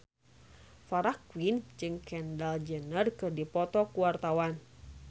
Farah Quinn jeung Kendall Jenner keur dipoto ku wartawan